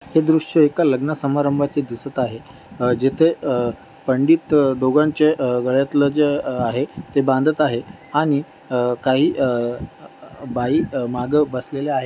हे दृश्य एका लग्न समारंभाचे दिसत आहे अह जिथे अह पंडित दोघांचे अह गळयातलं जे आहे ते बांधत आहे आणि अह काही अह बाई माग बसलेल्या आहे.